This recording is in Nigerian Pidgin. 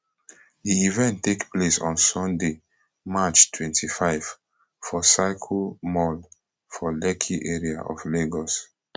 di event take place on sunday march twenty-five for circle mall for lekki area of lagos